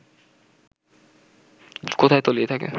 কোথায় তলিয়ে থাকে